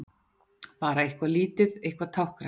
Bara eitthvað lítið, eitthvað táknrænt.